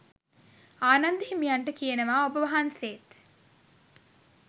ආනන්ද හිමියන්ට කියනවා ඔබවහන්සේත්